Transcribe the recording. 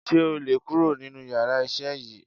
Sé o lè kurò nínú yàrá isé yìí